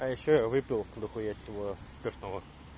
а ещё я выпил дохуя всего спиртного